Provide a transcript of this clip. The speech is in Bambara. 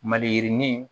Maliyirinin